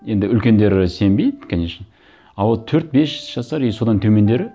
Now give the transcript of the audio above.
енді үлкендері сенбейді конечно а вот төрт бес жасар и содан төмендері